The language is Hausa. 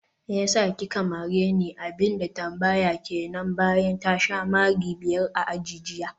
meyasa kika mareni?, abinda ta tambaya kenan bayan ta sha mari biyar a aji jiya